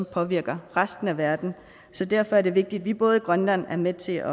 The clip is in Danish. påvirker resten af verden så derfor er det vigtigt at både vi i grønland er med til